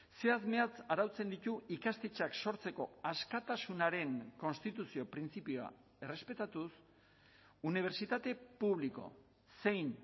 zehatz mehatz arautzen ditu ikastetxeak sortzeko askatasunaren konstituzio printzipioa errespetatuz unibertsitate publiko zein